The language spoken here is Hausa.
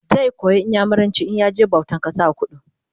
zai koyi inyamuranci in ya je bautan kasa a kudu